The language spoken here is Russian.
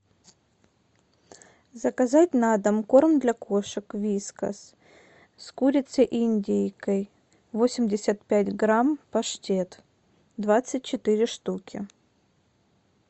заказать на дом корм для кошек вискас с курицей и индейкой восемьдесят пять грамм паштет двадцать четыре штуки